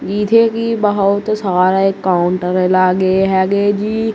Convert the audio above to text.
ਇਥੇ ਵੀ ਬਹੁਤ ਸਾਰੇ ਕਾਊਂਟਰ ਲਾਗੇ ਹੈਗੇ ਜੀ।